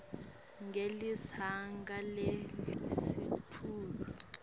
ngelizinga lelisetulu